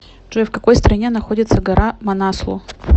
джой в какой стране находится гора манаслу